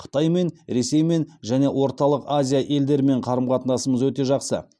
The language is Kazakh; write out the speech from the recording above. қытаймен ресеймен және орталық азия елдерімен қарым қатынасымыз өте жақсы